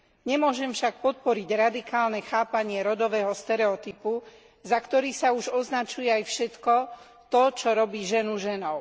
Nemôžem však podporiť radikálne chápanie rodového stereotypu, za ktorý sa už označuje aj všetko to, čo robí ženu ženou.